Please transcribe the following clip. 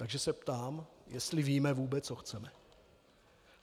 Takže se ptám, jestli víme, vůbec co chceme.